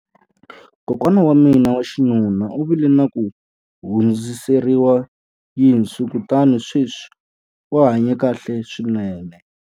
Kokwana wa mina wa xinuna u vile na ku hundziseriwa yinsu kutani sweswi u hanye kahle swinene.